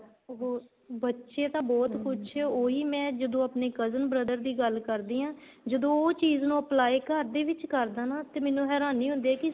ਹਮ ਬੱਚੇ ਤਾਂ ਬਹੁਤ ਕੁੱਛ ਉਹੀ ਮੈਂ ਜਦੋਂ ਆਪਣੇ cousin brother ਦੀ ਗੱਲ ਕਰਦੀ ਆ ਜਦੋਂ ਉਹ ਚੀਜ਼ ਨੂੰ apply ਘਰ ਦੇ ਵਿੱਚ ਕਰਦਾ ਹਨਾ ਤੇ ਮੈਨੂੰ ਹੈਰਾਨੀ ਹੁੰਦੀ ਹੈ ਕੀ